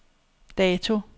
dato